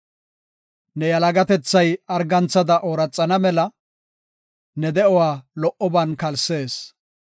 Ne yalagatethay arganthada ooraxana mela, ne de7uwa lo77oban kalsees.